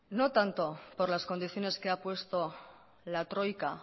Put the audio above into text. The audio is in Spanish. no tanto por las condiciones que ha puesto la troika